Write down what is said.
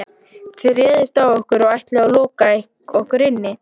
Þið réðust á okkur og ætluðuð að loka okkur inni.